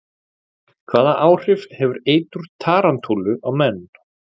Hvaða áhrif hefur eitur tarantúlu á menn?